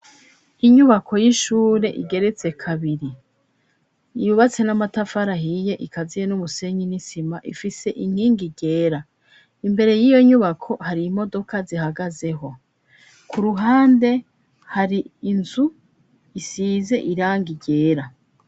Inyubako y'ishure igeretse kabiri, yubatse n'amatafari ahiye, ikaziye n'umusenyi, n'isima, ifise inkingi ryera, imbere y'iyo nyubako hari imodoka zihagazeho, ku ruhande hari inzu isize irangi ryera.